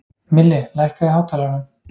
Milli, lækkaðu í hátalaranum.